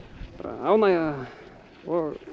ánægja og